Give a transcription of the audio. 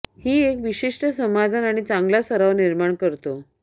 ही एक विशिष्ट समाधान आणि चांगला सराव निर्माण करतो